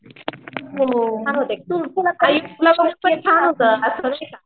हो